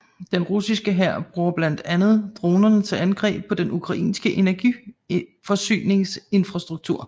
Den russiske hær bruger blandt andet dronerne til angreb på den ukrainske energiforsyningsinfrastruktur